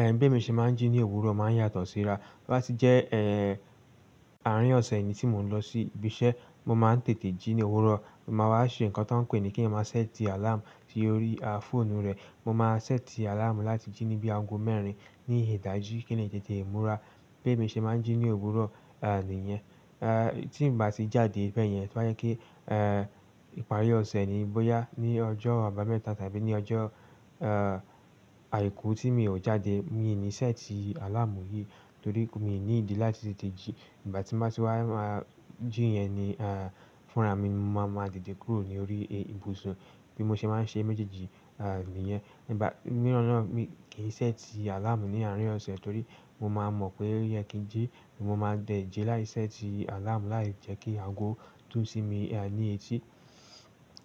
Ẹ̀hn bemi se máa ń jí ní òwúrọ̀ máa ń yàtọ̀ síra. To bá ti jẹ́ ẹ́ẹ̀, àárín ọ̀sẹ̀ ni tí mò ń lọ sí ibi iṣẹ́, mo máa ń tètè jí ní òwúrọ̀. Mo máa wá ṣe nǹkan tan pé ni ki eyan máa ṣẹ́tí àláàmù sí ori fóònù rẹ̀. Mo máa ṣẹ́tí àláàmù láti jí ní bí aago mẹ́rin ní ìdájí kí n lè tètè múra. Bemi ṣe máa ń jí ní òwúrọ̀ nìyẹn. Tí n bá ti jáde bẹ́ẹ̀ yẹn, to ba je pe, ìparí ọ̀sẹ̀ ni bóyá ní ọjọ́ àbámẹ́ta tàbí ní ọjọ́ àìkú tí mi ò jáde, mi ò ní ṣẹ́tí àláàmù yìí torí pe mi ò ní ìdí láti tètè jí. Ìgbà tí mo bá ti wá máa jí yẹn ni fúnra mi mo máa ma dìde kúrò ní orí ibùsùn bí mo ṣe máa ń ṣe méjèèjì nìyẹn. Ìgbà mìíràn náà mi kì í ṣẹ́tí àláàmù ní àárín ọ̀sẹ̀ torí mo máa mọ̀ pé ẹ kí n jí, mo máa dẹ̀ jí láì ṣẹ́tí àláàmù láì jẹ́ kí aago dún sí mi ní etí.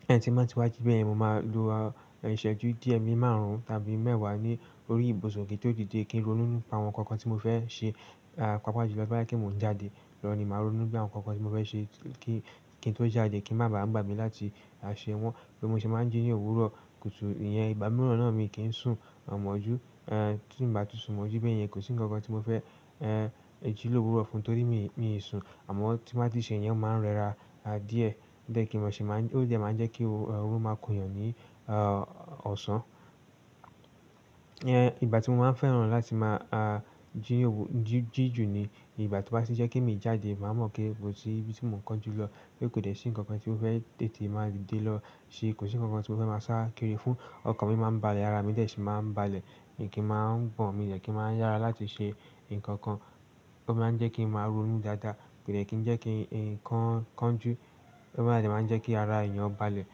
Tí mo bá ti wá jí bẹ́ẹ̀ yen, mo máa lo ìṣẹ́jú díẹ̀ bi máàrún tàbí mẹ́ẹ̀wá ní orí ibùsùn kí n tó dìde kí n ronú nípa àwọn ǹkan kan tí mo fẹ́ ṣe. Pàápàá jùlọ to bá jẹ pe mò ń jáde lọ ni màá ronú gbe àwọn ǹkan kan tí mo fẹ́ ṣe kí, kí n tó jáde kí ń má ba à gbàgbé láti a ṣe wọ́n. Bí mo ṣe máa ń jí ní òwúrọ̀ kùtù nìyẹn ìgbà mìíràn náà mi kì í sùn ọ̀ọ́mọjú, tí mo bá ti sùn mọjú bẹ́ẹ̀ yẹn kò sí ǹkan kan tí mo fẹ́ jí lóru òwúrọ̀ fún un torí mi mi sùn. Àmọ́ tí mo bá ti ṣe yẹn, o mo máa ń rẹra a díẹ̀ de kí ṣi máa ń-- ó jẹ́ máa ń jẹ́ kí oorun máa kun èèyàn ní ọ̀sán. Ìgbà tí mo máa ń fẹ́ràn láti máa jí owú-- jí, jí ju ni ìgbà tí ó bá ti jẹ́ pe mi i jáde, màá mọ̀ pé kó si ibi tí mò ń kánjú lọ pé kò dè ṣí ǹkan kan tí ó fẹ́ tètè máa dìde lọ ṣe, kò sí ǹkan kan tí ó fẹ́ máa sá kiri fún, ọkàn mi máa ń balẹ̀ ará mi dẹ̀ ṣì máa ń balẹ̀, mi kì í máa ń gbọ̀n, mi ò dẹ̀ kí ń máa ń yára láti ṣe ǹkan kan. Ó máa ń jẹ́ kí ń máa ronú dáadáa, kò dẹ̀ kí ń jẹ́ kí ǹkan kan jù. Ó máa dè máa ń jẹ́ kí ara èèyàn balẹ̀.